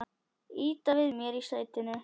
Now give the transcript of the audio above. Ýta við mér í sætinu.